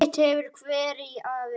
Sitt hefur hver að vinna.